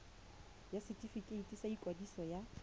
ya setefikeiti sa ikwadiso ya